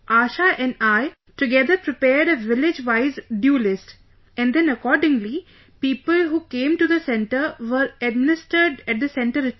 ASHA and I together prepared a village wise DUE list...and then accordingly, people who came to the centre were administered at the centre itself